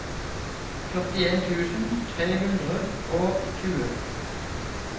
førtien tusen tre hundre og tjue